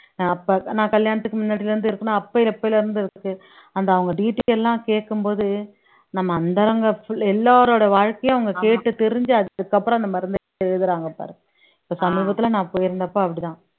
அஹ் அப்ப நான் கல்யாணத்துக்கு முன்னாடில இருந்து இருக்குன்னா அப்ப எப்பயில இருந்து அந்த அவங்க detail எல்லாம் கேக்கும் போது நம்ம அந்தரங்க எல்லாரோட வாழ்க்கையும் அவங்க கேட்டு தெரிஞ்சு அதுக்கப்புறம் அந்த மருந்தை எழுதுறாங்க பாரு இப்ப சமீபத்துல நான் போயிருந்தப்ப அப்படிதான்